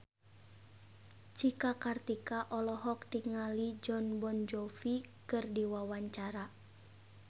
Cika Kartika olohok ningali Jon Bon Jovi keur diwawancara